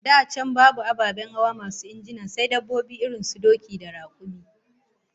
Da can babu ababen hawa masu injina, sai dabbobi irin su doki da rakumi